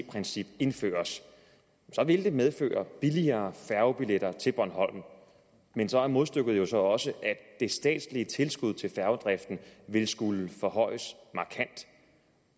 princip indføres så vil det medføre billigere færgebilletter til bornholm men så er modstykket jo så også at det statslige tilskud til færgedriften ville skulle forhøjes markant